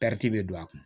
bɛ don a kun